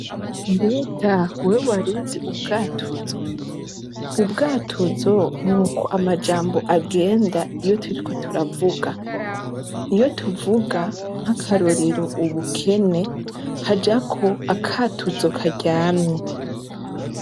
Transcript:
Mbega wewe waruzi ubwatuzo ubwatuzo ni uko amajambo agenda iyo turi ko turavuga iyo tuvuga nk'akarorero ubukene hajako akatuzo karyamye.